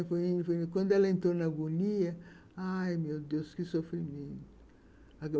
Então, quando ela entrou na agonia, ai, meu Deus, que sofrimento.